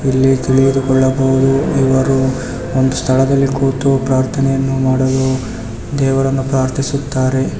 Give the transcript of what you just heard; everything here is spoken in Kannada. ಇಲ್ಲಿ ತಿಳಿದು ಕೊಳ್ಳಬಹುದು ಇವರು ಒಂದು ಸ್ಥಳದಲ್ಲಿ ಕೂತು ಪ್ರಾರ್ಥನೆಯನ್ನು ಮಾಡಲು ದೇವರನ್ನ ಪ್ರಾರ್ಥಿಸುತ್ತಾರೆ.